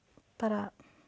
bara